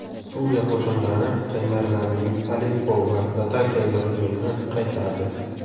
Suriya qo‘shinlari jangarilarning Aleppo va Latakiyaga hujumini qaytardi.